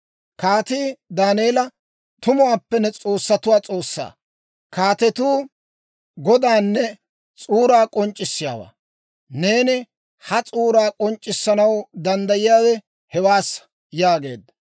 Kaatii Daaneela, «Tumuwaappe ne S'oossay s'oossatuwaa S'oossaa, kaatetuu Godaanne s'uuraa k'onc'c'issiyaawaa. Neeni ha s'uuraa k'onc'c'issanaw danddayiyaawe hewaassa» yaageedda.